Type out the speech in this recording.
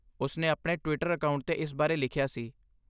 ਉਸ ਨੇ ਆਪਣੇ ਟਵਿਟਰ ਅਕਾਊਂਟ 'ਤੇ ਇਸ ਬਾਰੇ ਲਿਖਿਆ ਸੀ।